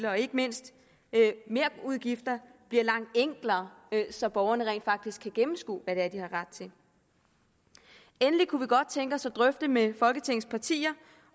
og ikke mindst merudgifter bliver langt enklere så borgerne rent faktisk kan gennemskue hvad det er de har ret til endelig kunne vi godt tænke os at drøfte med folketingets partier